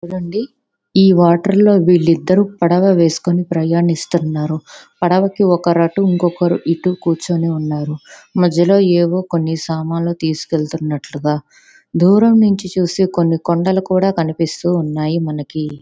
ఈ వాటర్ లో వీళ్లిద్దరు పడవ వేసుకుని ప్రయాణిస్తునరు. పడవ కి ఒకరు అటు ఇంకొకరు ఇటు కూర్చుని ఉన్నారు. మధ్యలో ఏవో కొన్ని సామాన్లు వెళ్తున్నట్లుగా దూరం నుంచి చూసి కొన్ని కొండలు కూడా కనిపిస్తున్నాయి మనకి.